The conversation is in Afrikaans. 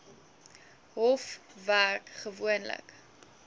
hof werk gewoonlik